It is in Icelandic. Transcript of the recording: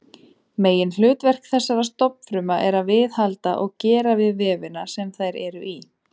Meginhlutverk þessara stofnfrumna er að viðhalda og gera við vefina sem þær eru í.